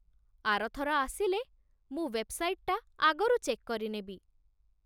ଆର ଥର ଆସିଲେ ମୁଁ ୱେବ୍‌ସାଇଟ୍‌ଟା ଆଗରୁ ଚେକ୍ କରିନେବି ।